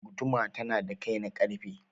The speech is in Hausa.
Guduma tana da kai na ƙarfe.